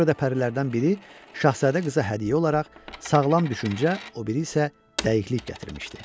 Ona görə də pərilərdən biri şahzadə qıza hədiyyə olaraq sağlam düşüncə, o biri isə dəyiklik gətirmişdi.